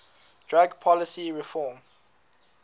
drug policy reform